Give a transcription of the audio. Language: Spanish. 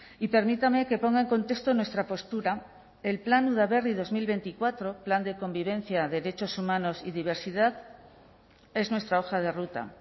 y permítame que ponga en contexto nuestra postura el plan udaberri dos mil veinticuatro plan de convivencia derechos humanos y diversidad es nuestra hoja de ruta